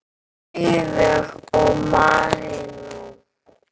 Auður og Marinó.